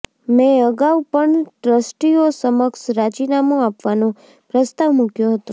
મેં અગાઉ પણ ટ્રસ્ટીઓ સમક્ષ રાજીનામું આપવાનો પ્રસ્તાવ મૂક્યો હતો